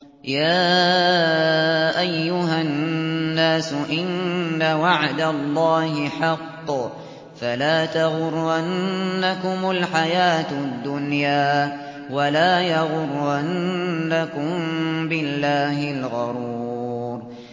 يَا أَيُّهَا النَّاسُ إِنَّ وَعْدَ اللَّهِ حَقٌّ ۖ فَلَا تَغُرَّنَّكُمُ الْحَيَاةُ الدُّنْيَا ۖ وَلَا يَغُرَّنَّكُم بِاللَّهِ الْغَرُورُ